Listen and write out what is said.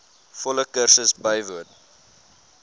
volle kursus bywoon